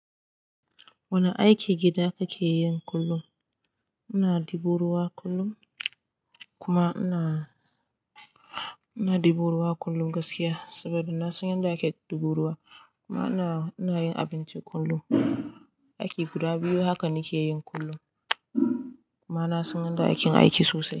Wane aikin gida kake yi kullum? Ina dibo ruwa kullum, kuma ina dibo ruwa kullum gaskiya saboda na san yadda ake dibo ruwa. Kuma ina yin abinci kullum. Aiki guda biyu haka nake yin kullum kuma na san yadda aikeyin aiki sosai.